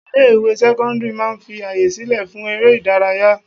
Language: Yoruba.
Ilé ìwé sẹ́cọ́ndírì máà ń fi àyè sílẹ̀ fún eré ìdárayá.